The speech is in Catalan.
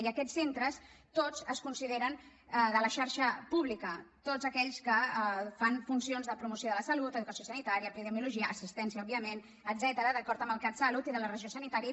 i aquests centres tots es consideren de la xarxa pública tots aquells que fan funcions de promoció de la salut educació sanitària epidemiologia assistència òbviament etcètera d’acord amb el catsalut i de la regió sanitària